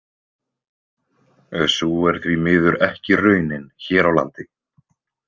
Sú er því miður ekki raunin hér á landi.